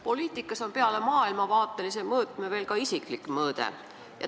Poliitikas on peale maailmavaatelise mõõtme veel ka isiklik mõõde.